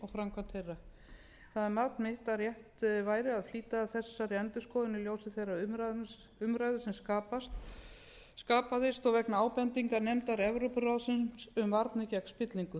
framkvæmd þeirra það er mat mitt að rétt væri að flýta þessari endurskoðun í ljósi þeirrar umræðu sem skapaðist og vegna ábendingar nefndar evrópuráðsins um varnir gegn spillingu